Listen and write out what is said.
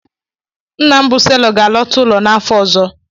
Nna m bụ selọ m ga-alọta ụlọ n'afọ ọzọ.